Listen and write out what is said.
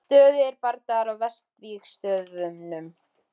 Stöðugir bardagar á vesturvígstöðvunum.